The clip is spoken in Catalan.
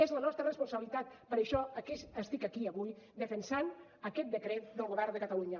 és la nostra responsabilitat per això estic aquí avui defensant aquest decret del govern de catalunya